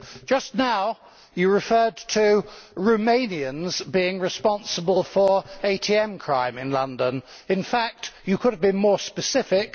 Just now, you referred to Romanians being responsible for ATM crime in London. In fact, you could be more specific.